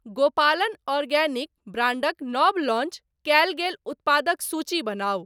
गोपालन आर्गेनिक ब्रांडक नव लॉन्च कयल गेल उत्पादक सूची बनाउ।